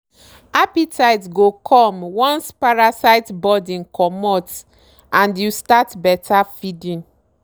appetite go come once parasite burden comot and you start better feeding.